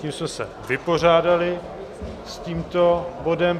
Tím jsme se vypořádali s tímto bodem.